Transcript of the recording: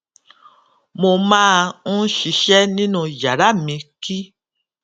mo máa n ṣiṣẹ nínú yàrá mi kí